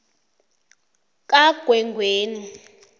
kamgwengweni